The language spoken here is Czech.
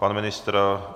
Pan ministr?